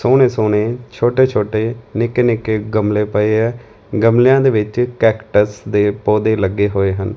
ਸੋਹਣੇ ਸੋਹਣੇ ਛੋਟੇ ਛੋਟੇ ਨਿੱਕੇ ਨਿੱਕੇ ਗਮਲੇ ਪਏ ਐ ਗਮਲਿਆਂ ਦੇ ਵਿੱਚ ਕੈਕਟਸ ਦੇ ਪੌਧੇ ਲੱਗੇ ਹੋਏ ਹਨ।